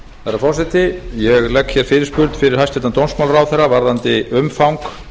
herra forseti ég legg fyrirspurn fyrir hæstvirtan dómsmálaráðherra varðandi umfang